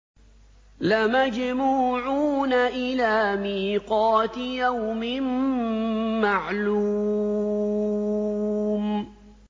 لَمَجْمُوعُونَ إِلَىٰ مِيقَاتِ يَوْمٍ مَّعْلُومٍ